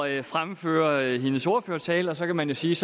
at fremføre hendes ordførertale og så kan man da sige